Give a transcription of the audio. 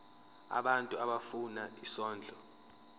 abantu abafuna isondlo